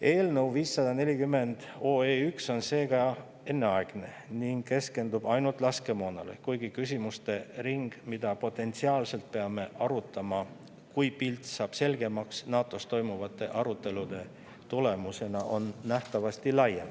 Eelnõu 540 on seega enneaegne ning keskendub ainult laskemoonale, kuigi küsimuste ring, mida potentsiaalselt peame arutama, kui pilt saab NATO‑s toimuvate arutelude tulemusena selgemaks, on nähtavasti laiem.